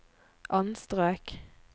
anstrøk